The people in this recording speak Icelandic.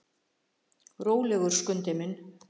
Rólegur, Skundi minn.